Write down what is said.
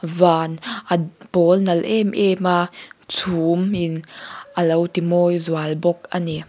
van a a pawl nalh em em a chhum in a lo ti mawi zual bawk a ni.